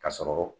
Ka sɔrɔ